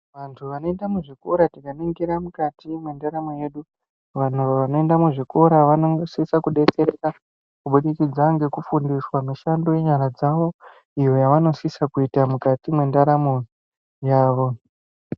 Vantu vanoita muzvikora tikaningira mwukati mwendaramo yedu vanhu vanoenda muzvikora vanosisa kudetsereka kuburikidza nekufundiswa mishando yenyara dzavo, iyo yavanosisa kuita mwukati mwendaramo yavo.